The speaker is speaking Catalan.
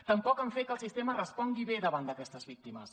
tampoc han fet que el sistema respongui bé davant d’aquestes víctimes